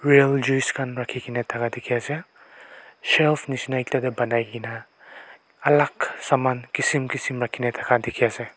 real juice khan rakhi ke na thaka dikhi ase shelf nisna ekta teh banai ke na alag saman kism kism rakhi ne thaka dikhi ase.